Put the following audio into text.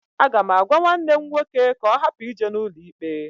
Aga m agwa nwanne m nwoke ka ọ hapụ ije n'ụlọikpe.